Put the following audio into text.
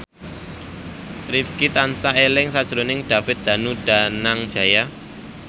Rifqi tansah eling sakjroning David Danu Danangjaya